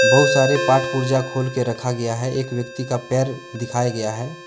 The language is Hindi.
बहुत सारे पार्ट पुर्जा खोल के रखा गया है एक व्यक्ति का पैर दिखाया गया है।